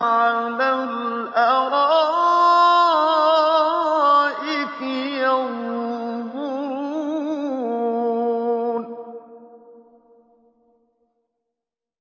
عَلَى الْأَرَائِكِ يَنظُرُونَ